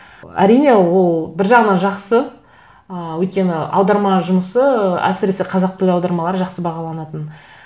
әрине ол бір жағынан жақсы ы өйткені аударма жұмысы әсіресе қазақ тілі аудармалары жақсы бағаланатын